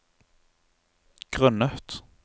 grunnet